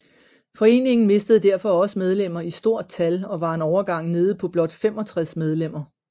Foreningen mistede derfor også medlemmer i stort tal og var en overgang nede på blot 65 medlemmer